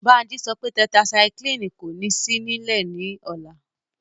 Bánjí sọ pé tẹtaisaiklínì kò ní sí nílẹ̀ ní ọ̀la